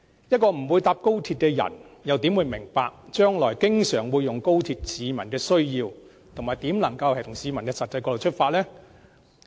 一個不會乘搭高鐵的人又怎會明白將來經常會乘坐高鐵的市民的需要，又怎能從他們的實際角度出發？